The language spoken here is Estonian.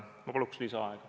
Ma palun lisaaega!